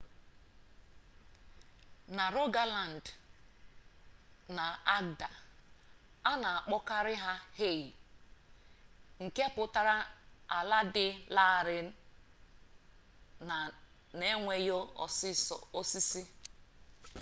na rogaland na agda a na akpọkarị ha hei nke pụtara ala dị larịị na enweghị osisi